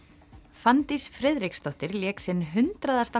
Fanndís Friðriksdóttir lék sinn hundraðasta